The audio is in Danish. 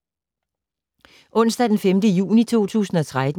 Onsdag d. 5. juni 2013